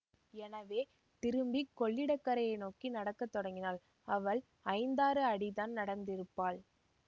எனவே திரும்பிக் கொள்ளிடக்கரையை நோக்கி நடக்க தொடங்கினாள் அவள் ஐந்தாறு அடிதான் நடந்திருப்பாள்